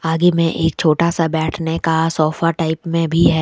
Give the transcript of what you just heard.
आगे में एक छोटा सा बैठने का सोफा टाइप में भी है।